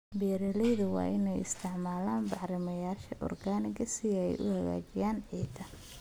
Beeralayda waa inay isticmaalaan bacrimiyeyaasha organic si ay u hagaajiyaan ciidda.